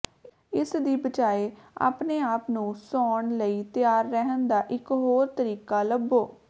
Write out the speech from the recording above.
ਇਸ ਦੀ ਬਜਾਇ ਆਪਣੇ ਆਪ ਨੂੰ ਸੌਣ ਲਈ ਤਿਆਰ ਰਹਿਣ ਦਾ ਇਕ ਹੋਰ ਤਰੀਕਾ ਲੱਭੋ